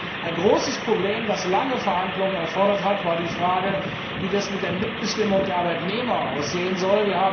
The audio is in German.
haben. Ein großes Problem, das lange Verhandlungen erfordert hat, war die Frage, wie es mit der Mitbestimmung der Arbeitnehmer aussehen soll.